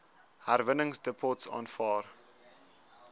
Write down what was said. herwinningsdepots aanvaar